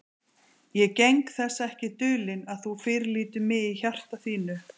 Ég geng þess ekki dulinn, að þú fyrirlítur mig í hjarta þínu.